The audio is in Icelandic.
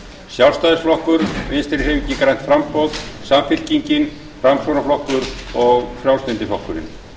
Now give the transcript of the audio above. sjálfstæðisflokkur vinstri hreyfingin grænt framboð samfylkingin framsóknarflokkur og frjálslyndi flokkurinn